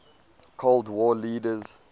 cold war leaders